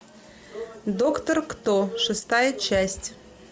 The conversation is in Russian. доктор кто шестая часть